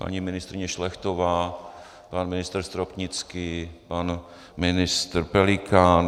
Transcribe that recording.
Paní ministryně Šlechtová, pan ministr Stropnický, pan ministr Pelikán.